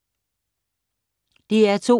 DR2